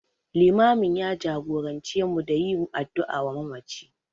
Limamin ya jagorance mu da yin addu'a wa mamaci.